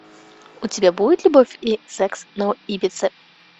у тебя будет любовь и секс на ибице